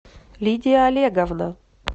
лидия олеговна